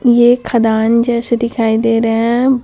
ये खदान जैसे दिखाई दे रहे हैं।